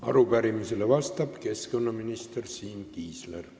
Arupärimisele vastab keskkonnaminister Siim Kiisler.